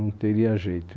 Não teria jeito